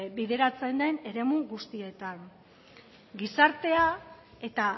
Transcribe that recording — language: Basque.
bideratzen den eremu guztietan gizartea eta